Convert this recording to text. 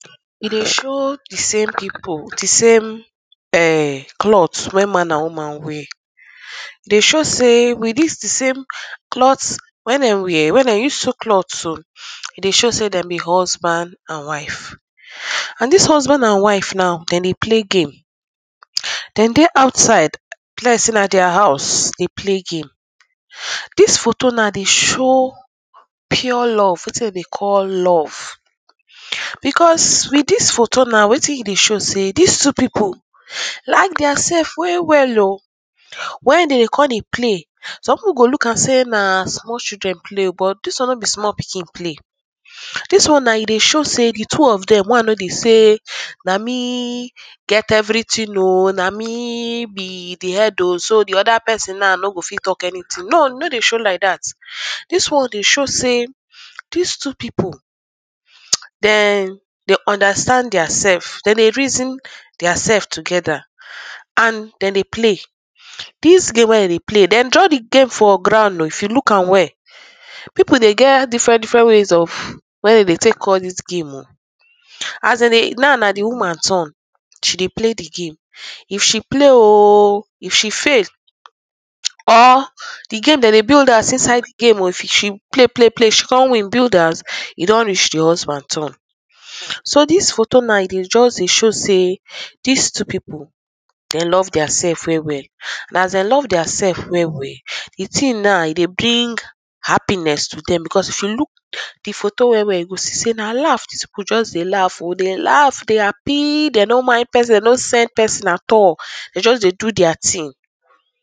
E dey show di same people, di same [urn] clothe wen man and woman wear. E dey show sey with dis di same cloth wen dem wear, wen dem use sew cloth so, e dey show sey dem be husband and wife. And dis husband and wife now dem dey play game. Dem dey outside, e be like sey na their house dey play game. Dis photo now dey show pure love, wetin dem dey call love because with dis photo now wetin e dey show sey dis two people like their sef well well oh, wen dem come dey play, person golook am sey na small children play but dis one no be small pikin play. Dis one na e dey show sey di two of dem one no dey show sey, na me get everything oh na me be di head oh, so di oda person na no go fit talk anything, no e no dey show like dat, dis one dey show sey dis two people Dem dem understand their sef, dem dey reason their sef together and dem dey play, dis game wen dem dey play, dem draw di game for ground oh, if you look am well. People dey get different ways of wey dem dey take call dis game oh, as dem dey na na di woman turn she dey play di game. If she play oh, if she fail or di game dem dey build house inside di game oh, if she play play play she come win build house, e don reach di husband turn. So dis photo na e dey just dey show sey, dis two people dem love their sef well well. And as dem love their sef well well, di thing na e dey bring happiness to dem because if you look di photo well well you go see sey na laugh dis people just dey laugh oh, dey laugh dey happy dem no mind person, dem no send person at all, dem just dey do their thing.